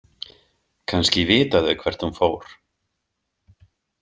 Kannski vita þau hvert hún fór.